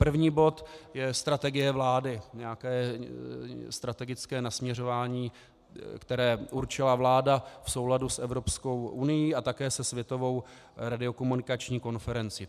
První bod je strategie vlády - nějaké strategické nasměrování, které určila vláda v souladu s Evropskou unií a také se Světovou radiokomunikační konferencí.